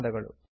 ಧನ್ಯವಾದಗಳು